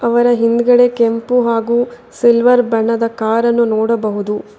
ಅವರ ಹಿಂದಗಡೆ ಕೆಂಪು ಹಾಗು ಸಿಲ್ವರ್ ಬಣ್ಣದ ಕಾರ್ ಅನ್ನು ನೋಡಬಹುದು.